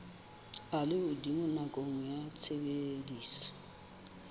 a lehodimo nakong ya tshebediso